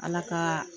Ala ka